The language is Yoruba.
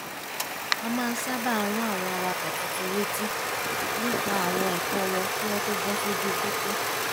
a máa ń sábà rán àwọn awakọ̀ tuntun létí nípa àwọn ẹ̀tọ́ wọn kí wọ́n tó bọ́ sójú pópó